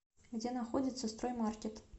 где находится строй маркет